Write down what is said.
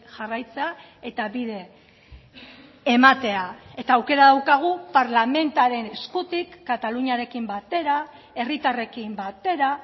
jarraitzea eta bide ematea eta aukera daukagu parlamentaren eskutik kataluniarekin batera herritarrekin batera